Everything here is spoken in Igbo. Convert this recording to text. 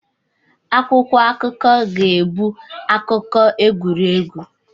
Akwụkwọ akụkọ ga-ebu akụkọ egwuregwu